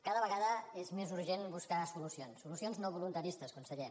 cada vegada és més urgent buscar solucions solucions no voluntaristes conseller